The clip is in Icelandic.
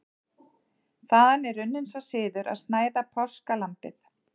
Þaðan er runninn sá siður að snæða páskalambið.